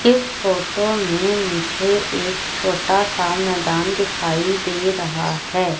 इस फोटो में मुझे एक छोटा सा मैदान दिखाई दे रहा है।